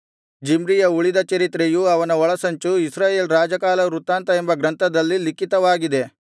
ಜಿಮ್ರಿಯ ಉಳಿದ ಚರಿತ್ರೆಯೂ ಅವನ ಒಳಸಂಚೂ ಇಸ್ರಾಯೇಲ್ ರಾಜಕಾಲವೃತ್ತಾಂತ ಎಂಬ ಗ್ರಂಥದಲ್ಲಿ ಲಿಖಿತವಾಗಿದೆ